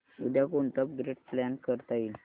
उद्या कोणतं upgrade plan करता येईल